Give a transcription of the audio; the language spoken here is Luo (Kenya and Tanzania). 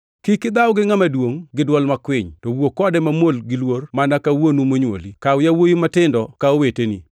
Kik idhaw gi ngʼama duongʼ gi dwol makwiny, to wuo kode mamuol giluor mana ka wuonu monywoli. Kaw yawuowi matindo ka oweteni,